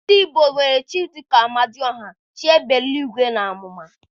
Ndị igbo nwere chi dị ka Amadioha, chi égbè eluigwe na àmụ̀mà.